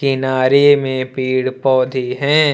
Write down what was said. किनारे में पेड़ पौधे है।